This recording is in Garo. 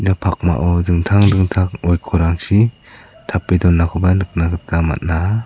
pakmao dingtang dingtang oikorrangchi tape donakoba nikna gita man·a.